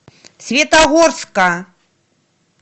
светогорска